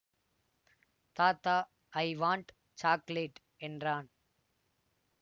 தாத்தா I want chocolate என்றான்